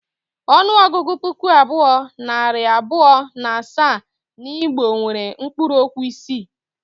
Ọnụọgụgụ ‘puku abụọ, nari abụọ na asaa’ n’Igbo nwere mkpuruokwu isii